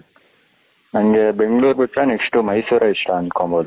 ನನಗೆ ಬೆಂಗಳೂರು ಬಿಟ್ಟರೆ next ಮೈಸೂರೇ ಇಷ್ಟ ಅನ್ಕೊಬಹುದು.